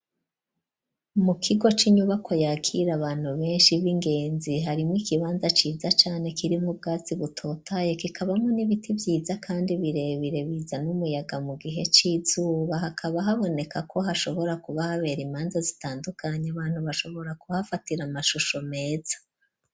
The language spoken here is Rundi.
Mu kigo c'inyubako yakira abantu benshi b'ingenzi harimwo ikibanza ciza cane kiri mu bwatsi butotaye kikabamwo n'ibiti vyiza kandi birebire bizana umuyaga mu gihe c'izuba hakaba haboneka ko hashobora kuba habera imanza zitandukanye abantu bashobora kuhafatira amashusho meza.